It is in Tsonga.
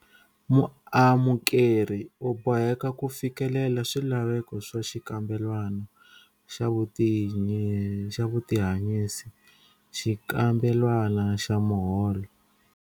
Muamukeri u boheka ku fikelela swilaveko swa xikambelwana xa vutihanyisi, xikambelwana xa muholo.